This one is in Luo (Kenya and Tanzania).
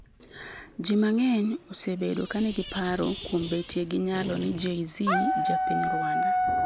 Ji mang'eny osebado ka nigi paro kuom betie gi nyalo n Jay-Z en ja piny Rwanda